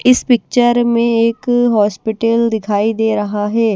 इस पिक्चर में एक हॉस्पिटल दिखाई दे रहा है।